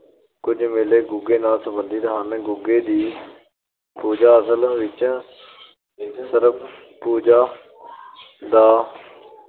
ਕੁਝ ਮੇਲੇ ਗੁੱਗੇ ਨਾਲ ਸੰਬੰਧਿਤ ਹਨ । ਗੁੱਗੇ ਦੀ ਪੂਜਾ ਅਸਲ ਵਿੱਚ ਸਰਪ-ਪੂਜਾ ਦਾ